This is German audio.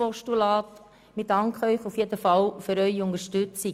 Wir danken Ihnen auf jeden Fall für Ihre Unterstützung.